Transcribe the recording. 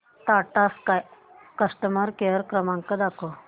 Tata sky customer care क्रमांक दाखवा